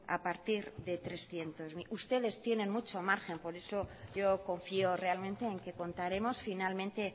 a partir de trescientos mil ustedes tienen mucho margen por eso yo confío realmente en que contaremos finalmente